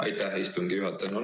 Aitäh, istungi juhataja!